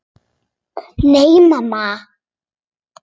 Nei, mamma.